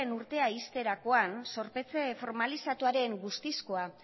urtea ixterakoan zorpetze formalizatuaren guztizkoa